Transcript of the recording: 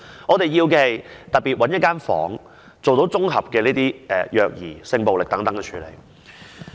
我們要求的是專門找一個房間，來處理綜合虐兒、性暴力等案件。